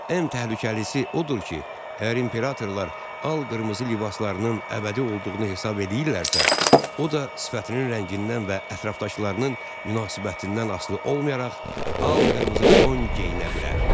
Ən təhlükəlisi odur ki, əgər imperatorlar al qırmızı libaslarının əbədi olduğunu hesab eləyirlərsə, o da sifətinin rəngindən və ətrafdakılarının münasibətindən asılı olmayaraq al qırmızı don geyinə bilər.